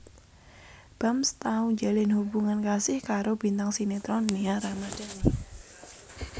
Bams tau njalin hubungan kasih karo bintang sinetron Nia Ramandhani